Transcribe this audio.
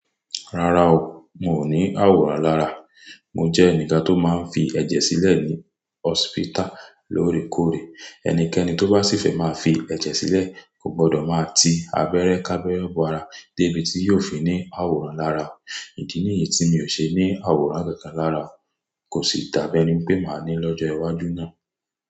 Rárá o, mi ò ní àwòrán lára. Mo jẹ́ ẹnìkan tó máa ń fi ẹ̀jẹ̀ sílẹ̀ ní hospital lóòrèkóòrè. Ẹnikẹ́ni tó bá sì fẹ́ máa fi ẹ̀jẹ̀ sílẹ̀ kò gbọdọ̀ máa ti abẹ́rẹ́ k'ábẹ́rẹ́ bọ́ ara débi tí yóò fi ní àwòrán lára o. Ìdí nìyí tí mi ò ṣe ní àwòrán kankan lára o. Kò sì dábi ẹ́ni pé màá ní lọ́jọ́ iwájú náà.